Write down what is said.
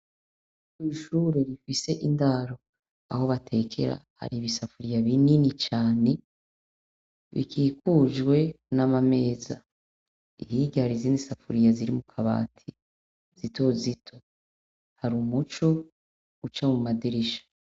Kw'ishure rifise indaro, aho batekera hari ibisafuriya binini cane bikikujwe n'amameza, hirya hari izindi safuriya ziri mu kabati zito zito, hari umuco uca mu madirisha.